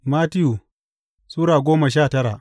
Mattiyu Sura goma sha tara